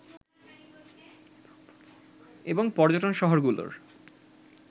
এবং পর্যটন শহরগুলোর